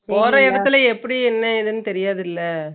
போற எடத்துல எப்புடி எது என்னன்னு தெரியாதுல